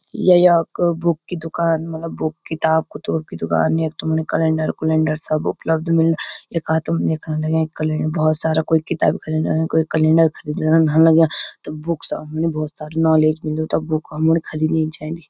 या याक बुक की दूकान मलब बुक किताब क़ुतुब की दूकान यख तुमणी कलैंडर कुलैंडर सब उपलब्ध मिल्ला यखा तुम देखणा लग्यां कलैन्डर भौत सारा कुई किताब ख़रीदण अयाँ कुई कैलेंडर ख़रीदण धन लग्याँ त बुकस ह्मणी भौत सारी नॉलेज मिलदु त बुक हमुण खरीदेण चैंदी।